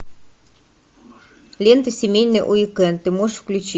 лента семейный уикенд ты можешь включить